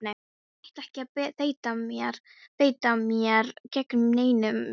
Ég ætla ekki að beita mér gegn neinum nema þér!